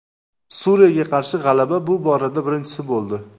Suriyaga qarshi g‘alaba bu borada birinchisi bo‘ldi.